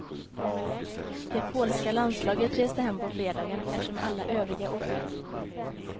Det polska landslaget reste hem på fredagen eftersom alla övriga åkt ut.